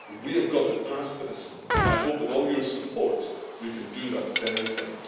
We have got to pass this and I hope with all your support we can do that very thing.